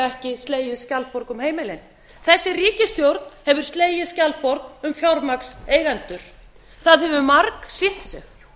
ekki slegið skjaldborg um heimilin þessi ríkisstjórn hefur slegið skjaldborg um fjármagnseigendur það hefur margsýnt sig